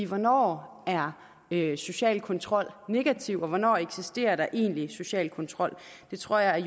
hvornår er er social kontrol negativ og hvornår eksisterer der egentlig social kontrol det tror jeg